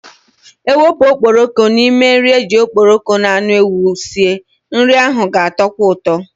Ewepu okporoko n'ime nri eji okporoko n'anu ewu sie, nri ahụ ga-atọkwa ụtọ.